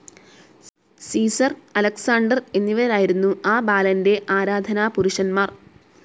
Caesar, Alexander എന്നിവരായിരുന്നു ആ ബാലൻ്റെ ആരാധനാപുരുഷന്മാർ.